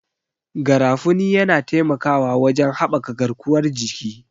Garafuni yana taimakawa wajen haɓaka garkuwar jiki.